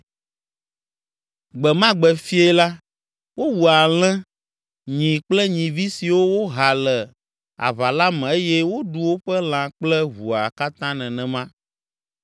Gbe ma gbe fiẽ la, wowu alẽ, nyi kple nyivi siwo woha le aʋa la me eye woɖu woƒe lã kple ʋua katã nenema.